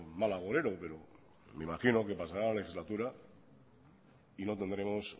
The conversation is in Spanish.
mal agorero pero me imagino que pasará la legislatura y no tendremos